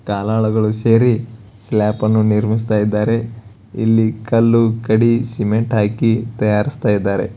ಕೆಕಾಲಾಳುಗಳು ಸೇರಿ ಸ್ಲ್ಯಾಪ್ ಅನ್ನು ನಿರ್ಮಿಸುತ್ತಿದ್ದಾರೆ ಇಲ್ಲಿ ಕಲ್ಲು ಕಡಿ ಸಿಮೆಂಟ್ಗ ಹಾಕಿ ತಯಾರಿಸ್ತಾ ಇದಾರೆ .